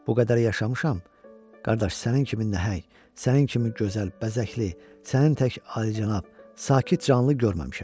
Bu qədər yaşamışam, qardaş, sənin kimi nəhəng, sənin kimi gözəl, bəzəkli, sənin tək alicənab, sakit canlı görməmişəm.